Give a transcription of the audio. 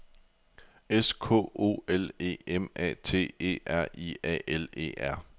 S K O L E M A T E R I A L E R